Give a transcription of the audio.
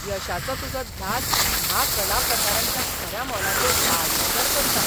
यशाचो तुजो ध्यास ह्या कला प्रकारांच्या खऱ्या मोलाचेर आडनदर करता.